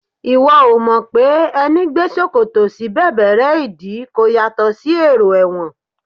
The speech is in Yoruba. Ìwọ ò mọ̀ pé ẹní gbé ṣòkòtò sí bẹ̀bẹ̀rẹ́ ìdí kò yàtọ̀ sí èrò ẹ̀wọ̀n